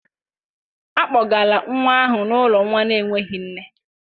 A kpọgara nwa ahụ n'ụlọ nwa na-enweghị nne